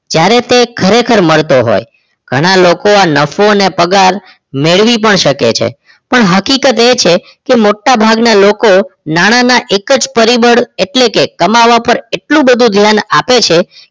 જ્યારે તે ખરેખર મળતો હોય ઘણા લોકો નફો અને પગાર મેળવી પણ શકે છે પણ હકીકત એ છે કે મોટા ભાગના લોકો નાણાના એક જ પરિબળ એટલે કે કમાવા ઉપર એટલું બધું ધ્યાન આપે છે